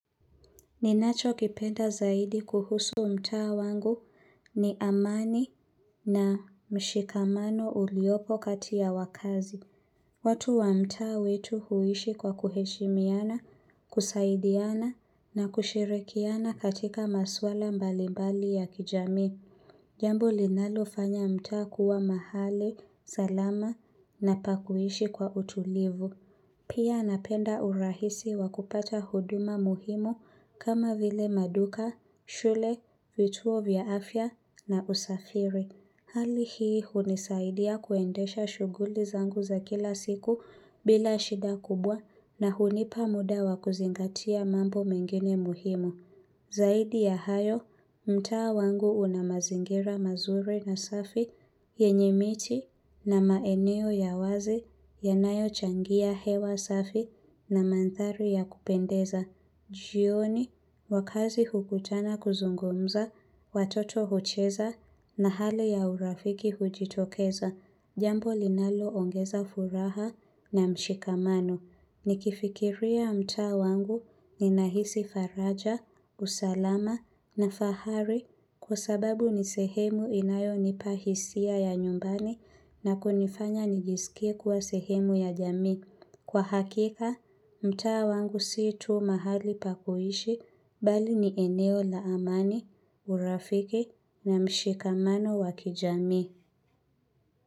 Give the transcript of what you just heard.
Ninachokipenda zaidi kuhusu mtaa wangu ni amani na mshikamano uliopo kati ya wakazi. Watu wa mtaa wetu huishi kwa kuheshimiana, kusaidiana na kushirikiana katika maswala mbalimbali ya kijamii. Jambo linalofanya mtaa kuwa mahali, salama na pa kuishi kwa utulivu. Pia napenda urahisi wa kupata huduma muhimu kama vile maduka, shule, vituo vya afya na usafiri. Hali hii hunisaidia kuendesha shughuli zangu za kila siku bila shida kubwa na hunipa muda wa kuzingatia mambo mengine muhimu. Zaidi ya hayo, mtaa wangu una mazingira mazuri na safi, yenye miti na maeneo ya wazi yanayo changia hewa safi na mandhari ya kupendeza. Jioni, wakaazi hukutana kuzungumza, watoto hucheza na hali ya urafiki hujitokeza. Jambo linaloongeza furaha na mshikamano. Nikifikiria mtaa wangu ninahisi faraja, usalama na fahari kwa sababu ni sehemu inayonipa hisia ya nyumbani na kunifanya nijiskie kuwa sehemu ya jamii. Kwa hakika, mtaa wangu si tu mahali pa kuishi bali ni eneo la amani, urafiki na mshikamano wa kijamii.